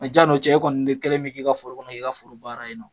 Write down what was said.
A jani o cɛ, e kɔni kɛlen min k'i ka foro kɔnɔ, i ka foro baara in na